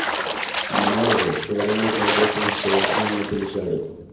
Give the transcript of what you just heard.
మనోజ్ షో రూంలో పని చేస్తున్న సేల్స్ మెన్ ని పిలిచాడు